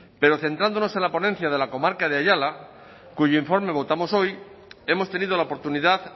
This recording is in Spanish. pero centrándonos en la ponencia de la comarca de ayala cuyo informe votamos hoy hemos tenido la oportunidad